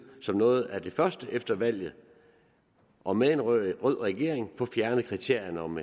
som noget af det første efter valget og med en rød regering få fjernet kriterierne om